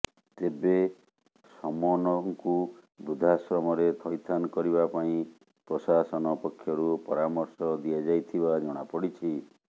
ତେବେ ସମୋନଙ୍କୁ ବୃଦ୍ଧାଶ୍ରମରେ ଥଇଥାନ କରିବା ପାଇଁ ପ୍ରଶାସନ ପକ୍ଷରୁ ପରାମର୍ଶ ଦିଆଯାଇଥିବା ଜଣାପଡ଼ିଛି